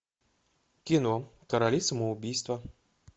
кино короли самоубийства